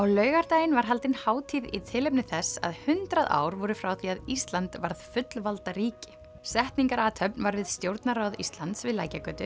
laugardaginn var haldin hátíð í tilefni þess að hundrað ár voru frá því að Ísland varð fullvalda ríki setningarathöfn var við Stjórnarráð Íslands við